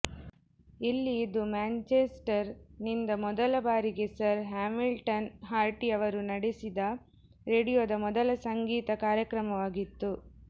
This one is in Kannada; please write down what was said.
ಇಲ್ಲಿ ಇದು ಮ್ಯಾಂಚೆಸ್ಟರ್ ನಿಂದ ಮೊದಲ ಬಾರಿಗೆ ಸರ್ ಹ್ಯಾಮಿಲ್ಟನ್ ಹಾರ್ಟಿ ಅವರು ನಡೆಸಿದ ರೇಡಿಯೊದ ಮೊದಲ ಸಂಗೀತ ಕಾರ್ಯಕ್ರಮವಾಗಿತ್ತು